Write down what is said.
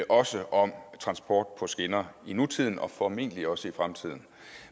også om transport på skinner i nutiden og formentlig også i fremtiden